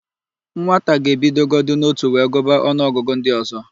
Nwata ga-ebidogodi n'ótù wee gụba ọnụọgụgụ ndị ọ̀zọ́.